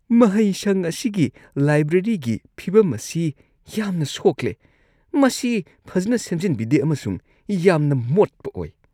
ꯃꯍꯩꯁꯪ ꯑꯁꯤꯒꯤ ꯂꯥꯏꯕ꯭ꯔꯦꯔꯤꯒꯤ ꯐꯤꯕꯝ ꯑꯁꯤ ꯌꯥꯝꯅ ꯁꯣꯛꯂꯦ ; ꯃꯁꯤ ꯐꯖꯅ ꯁꯦꯝꯖꯤꯟꯕꯤꯗꯦ ꯑꯃꯁꯨꯡ ꯌꯥꯝꯅ ꯃꯣꯠꯄ ꯑꯣꯏ ꯫